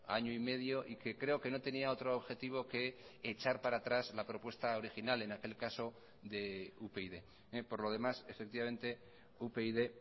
año y medio y que creo que no tenía otro objetivo que echar para atrás la propuesta original en aquel caso de upyd por lo demás efectivamente upyd